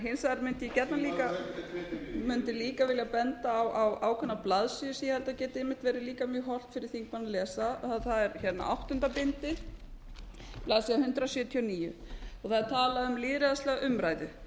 hins vegar mundi ég gjarnan líka vilja benda á ákveðna blaðsíðu sem ég held að geti einmitt verið líka mjög hollt fyrir þingmanninn að lesa það er áttunda bindi blaðsíður hundrað sjötíu og níu það er talað um lýðræðislega umræðu